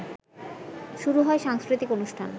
শুরু হয় সাংস্কৃতিক অনুষ্ঠান